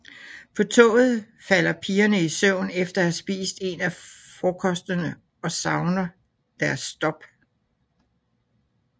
På toget falder pigerne i søvn efter at have spist en af frokostene og savner deres stop